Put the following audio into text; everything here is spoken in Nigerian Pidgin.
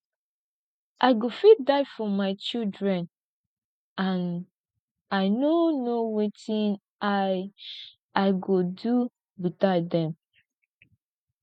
i go fit die for my children and i no know wetin i i go do without dem